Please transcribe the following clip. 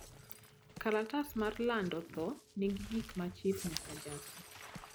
kalatas mar lando tho nigi gik ma chif nyaka jasi